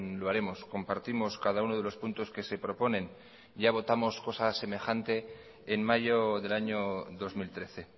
lo haremos compartimos cada uno de los puntos que se proponen ya votamos cosa semejante en mayo del año dos mil trece